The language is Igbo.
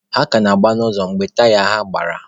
Ha ka na-agba n'ụzọ mgbe taya ha gbara.